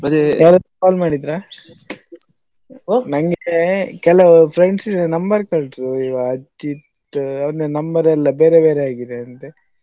ಯಾರಾದ್ರೂ call ಮಾಡಿದ್ರಾ? ನಂಗೆ ಕೆಲವು friends number ಕೊಟ್ರು ಅಜಿತ್ ಅವ್ರ number ಎಲ್ಲಾ ಬೇರೆ ಬೇರೆ ಆಗಿದೆಯಂತೆ.